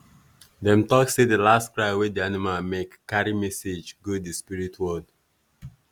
dem talk say the last cry wey the animal make carry message go the spirit world.